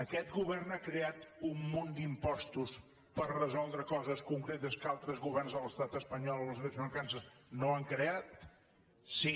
aquest govern ha creat un munt d’impostos per resoldre coses concretes que altres governs de l’estat espanyol amb les mateixes mancances no han creat sí